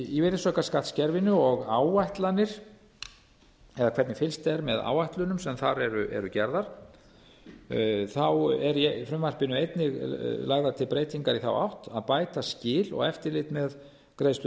í virðisaukaskattskerfinu og áætlanir eða hvernig fylgst er með áætlunum sem þar eru gerðar eru í frumvarpinu einnig lagðar til breytingar í þá átt að bæta skil og eftirlit með greiðslu